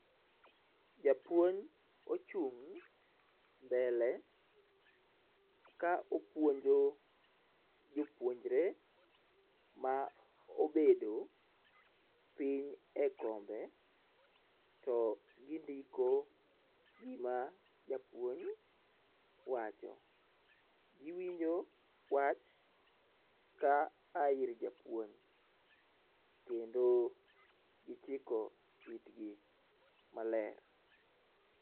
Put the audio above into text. Japuonj ochung' mbele ka opuonjo jopuonjre ma obedo piny ekombe to gindiko gima Japuonj wacho giwinjo wach ka aa ir japuonj kendo gichiko itgi maler.